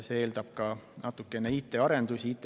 See eeldab ka natukene IT-arendusi.